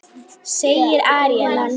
segir Árelía.